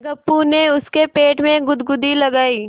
गप्पू ने उसके पेट में गुदगुदी लगायी